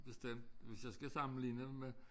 Bestemt hvis jeg skal sammenligne med